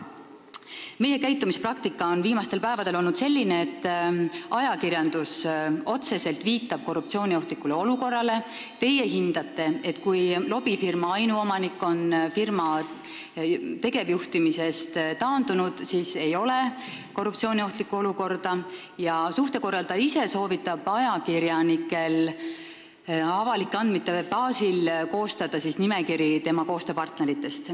Meie käitumispraktika on viimastel päevadel olnud selline, et ajakirjandus otseselt viitab korruptsiooniohtlikule olukorrale, teie hindate seda nii, et kui lobifirma ainuomanik on firma tegevjuhtimisest taandunud, siis ei ole korruptsiooniohtlikku olukorda, ning suhtekorraldaja ise soovitab ajakirjanikel avalike andmete baasil koostada nimekiri tema koostööpartneritest.